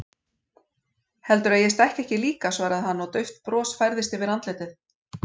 Heldurðu að ég stækki ekki líka, svaraði hann og dauft bros færðist yfir andlitið.